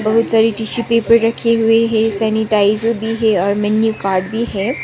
बहुत सारी tissue paper रखे हुए हैं सैनिटाइजर भी है और मेनू कार्ड भी है।